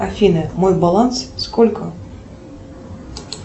афина мой баланс сколько